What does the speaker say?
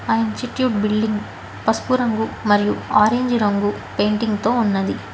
ఆ ఎంచిక్యూ బిల్డింగ్ పసుపు రంగు మరియి ఆరంజ్ రంగు పెయింటింగ్ తో ఉన్నవి.